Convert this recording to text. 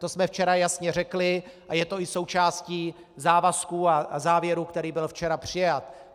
To jsme včera jasně řekli a je to i součástí závazků a závěru, který byl včera přijat.